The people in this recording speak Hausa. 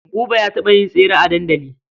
Buba ya taɓa yin tesre a dandali.